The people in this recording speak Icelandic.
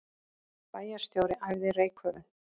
Bæjarstjóri æfði reykköfun